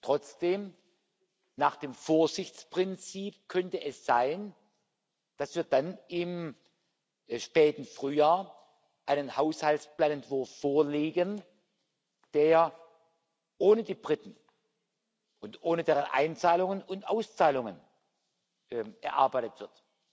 Trotzdem Nach dem Vorsichtsprinzip könnte es sein, dass wir dann im späten Frühjahr einen Haushaltsplanentwurf vorlegen, der ohne die Briten und ohne deren Einzahlungen und Auszahlungen erarbeitet wird.